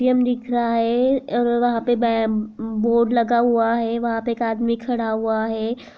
M दिख रहा है और वहा पे ब्या बोर्ड लगा हुआ है वहा पे एक आदमी खड़ा हुआ है ।